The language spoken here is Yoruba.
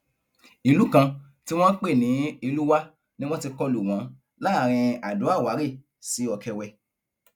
ìlú kan tí wọn pè ní elúwá ni wọn ti kọlu wọn láàrin adoàwárẹ sí ọkẹwẹ